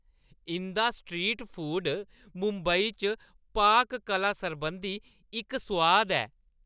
इंʼदा street food Mumbai च पाक-कला सरबंधी इक सोआद ऐ।